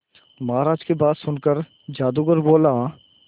महाराज की बात सुनकर जादूगर बोला